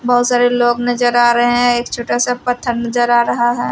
बहुत सारे लोग नजर आ रहे हैं एक छोटा सा पत्थर नजर आ रहा है।